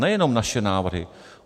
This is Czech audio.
Nejenom naše návrhy.